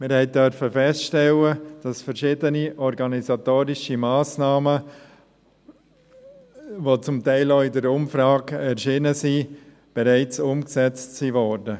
Wir durften feststellen, dass verschiedene organisatorische Massnahmen, welche zum Teil in der Umfrage erschienen sind, bereits umgesetzt wurden.